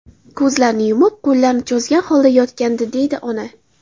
Ko‘zlarini yumib, qo‘llarini cho‘zgan holda yotgandi”, deydi ona.